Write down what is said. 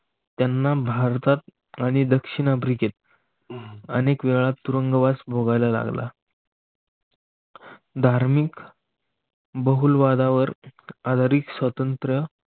त्यांना भारतात आणि दक्षिण आफ्रिकेत अह अनेक वेळा तुरुंगवास भोगायला लागला. धार्मिक बहुलवादावर आधारित स्वातंत्र्य